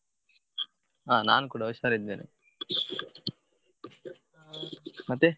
ಹಾ ನಾನು ಕೂಡ ಹುಷಾರಿದ್ದೇನೆ ಮತ್ತೆ?